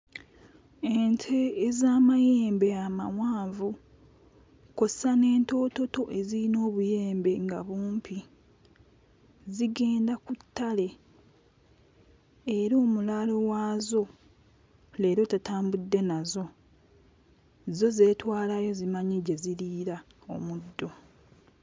Ente ez'amayembe amawanvu kw'ossa n'entoototo eziyina obuyembe nga bumpi zigenda ku ttale era omulaalo waazo leero tatambudde nazo zo zeetwalayo zimanyi gye ziriira omuddo.